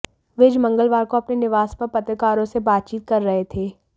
विज मंगलवार को अपने निवास पर पत्रकारों से बातचीत कर रहे थे